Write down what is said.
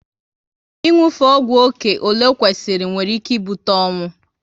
Ị nwufe ọgwụ oké ọle o kwesịrị nwere ike ibute ọnwụ